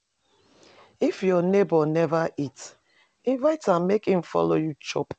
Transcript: If your neighbor neva eat, invite am make e follow you chop.